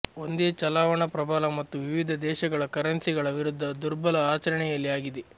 ಒಂದೇ ಚಲಾವಣಾ ಪ್ರಬಲ ಮತ್ತು ವಿವಿಧ ದೇಶಗಳ ಕರೆನ್ಸಿಗಳ ವಿರುದ್ಧ ದುರ್ಬಲ ಆಚರಣೆಯಲ್ಲಿ ಆಗಿದೆ